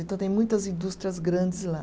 Então, tem muitas indústrias grandes lá.